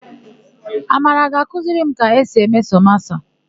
Amara ga-akụziri m ka esi eme samosa.